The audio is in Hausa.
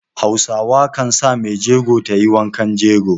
Hausa kan sa maijego ta yi wankan jego